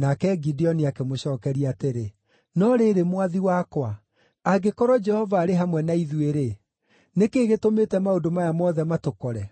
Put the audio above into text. Nake Gideoni akĩmũcookeria atĩrĩ, “No rĩrĩ, mwathi wakwa, angĩkorwo Jehova arĩ hamwe na ithuĩ-rĩ, nĩ kĩĩ gĩtũmĩte maũndũ maya mothe matũkore?